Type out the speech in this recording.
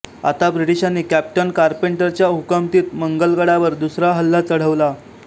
आता ब्रिटिशांनी कॅप्टन कारपेंटरच्या हुकमतीत मलंगगडावर दुसरा हल्ला चढवला